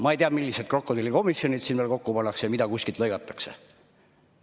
Ma ei tea, millised krokodillikomisjonid siin veel kokku pannakse ja mida kuskilt lõigatakse.